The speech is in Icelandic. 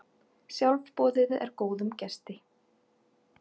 Sjálfboðið er góðum gesti.